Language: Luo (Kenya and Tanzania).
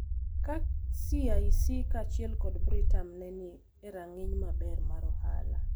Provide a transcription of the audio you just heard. ka CIC kaachiel kod Britam ne ni e rang’iny maber mar ohala,